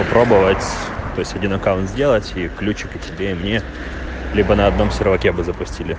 пробовать то есть один аккаунт сделать с ключик и тебе и мне либо на одном сервка бы запустили